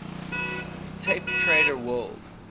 tape trader world